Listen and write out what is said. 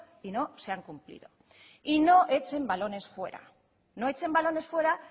y no se han cumplido y no echen balones fuera no echen balones fuera